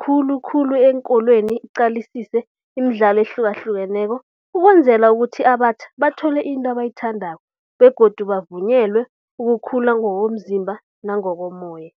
khulukhulu eenkolweni iqalisise imidlalo ehlukahlukeneko, ukwenzela ukuthi abatjha bathole into abayithandako begodu bavunyelwe ukukhula ngokomzimba nangokomoya.